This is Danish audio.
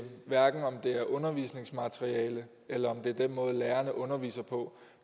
hverken undervisningsmateriale eller den måde lærerne underviser på